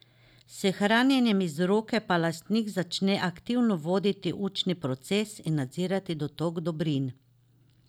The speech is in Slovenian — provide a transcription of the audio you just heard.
S hranjenjem iz roke pa lastnik začne aktivno voditi učni proces in nadzirati dotok dobrin.